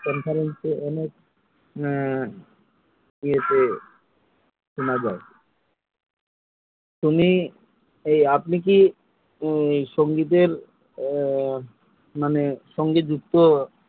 ইয়েতে শোনা যায় তুমি এই আপনি কি সঙ্গীত এর আহ মানে সঙ্গীতযুক্ত